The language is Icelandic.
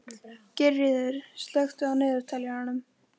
Geirríður, slökktu á niðurteljaranum.